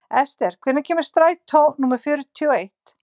Esther, hvenær kemur strætó númer fjörutíu og eitt?